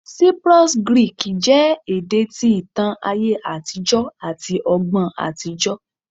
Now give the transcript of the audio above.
Cyprus Greek jẹ ede ti itan aye atijọ ati ọgbọn atijọ